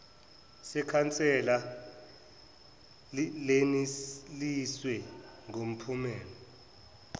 sekhansela leneliswa ngumphumela